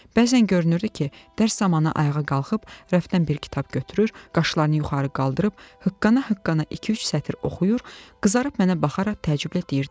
Bəzən görünürdü ki, dərs zamanı ayağa qalxıb rəfdən bir kitab götürür, qaşlarını yuxarı qaldırıb hıqqana-hıqqana iki-üç sətr oxuyur, qızarıb mənə baxaraq təəccüblə deyirdi.